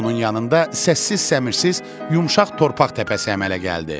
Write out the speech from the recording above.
Onun yanında səssiz səmsiz yumşaq torpaq təpəsi əmələ gəldi.